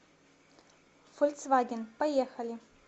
фольцваген поехали